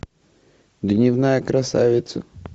дневная красавица